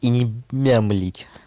и не мямлить